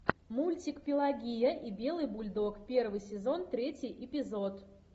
мультик пелагия и белый бульдог первый сезон третий эпизод